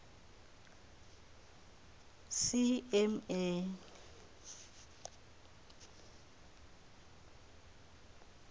cma